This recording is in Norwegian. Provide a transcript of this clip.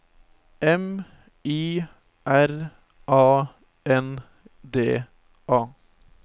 M I R A N D A